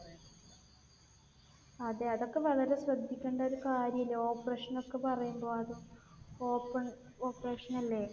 അതെ. അതൊക്കെ വളരെ ശ്രദ്ധിക്കേണ്ട ഒരു കാര്യം അല്ലെ. operation എന്നൊക്കെ പറയുമ്പോൾ. അതും open operation അല്ലേ?